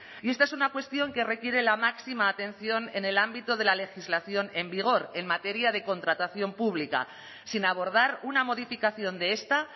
y esta es una cuestión que requiere la máxima atención en el ámbito de la legislación en vigor en materia de contratación pública sin abordar una modificación de esta